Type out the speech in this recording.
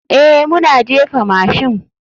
Ee, muna jefa mashin.